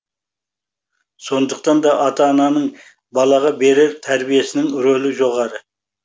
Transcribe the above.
сондықтан да ата ананың балаға берер тәрбиесінің рөлі жоғары